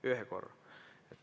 Ühe korra.